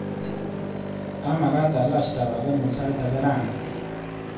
Amakat alach tabakenyu sait ake rani.